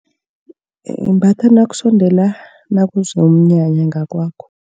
Imbathwa nakusondela nakuza umnyanya ngakwakho.